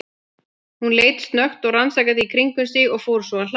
Hún leit snöggt og rannsakandi í kringum sig og fór svo að hlæja.